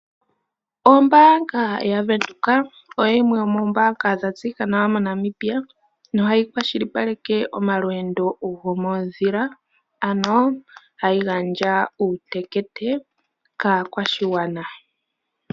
Ombaanga yaWindhoek oyo yimwe yomoombaanga dha tseyika nawa moNamibia nohayi kwashilipaleke omalweendo gomoondhila, ano hayi gandja uutekete kaakwashigwana.